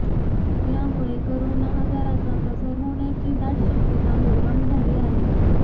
यामुळे करोना आजाराचा प्रसार होण्याची दाट शक्यता निर्माण झाली आहे